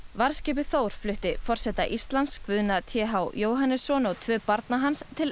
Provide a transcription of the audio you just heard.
varðskipið Þór flutti forseta Íslands Guðna t h Jóhannesson og tvö barna hans til